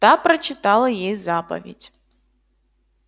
та прочитала ей заповедь